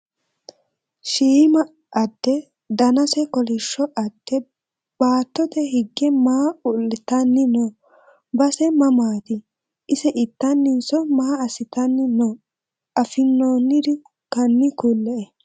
Shiima adde danase kolisho ade baatote higge maa ulatani no base mamaati ise itaninso maa asitani no afinooniri hani kule`e.